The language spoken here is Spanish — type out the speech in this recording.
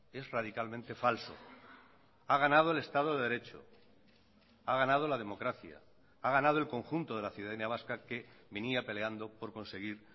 es radicalmente falso ha ganado el estado de derecho ha ganado la democracia ha ganado el conjunto de la ciudadanía vasca que venía peleando por conseguir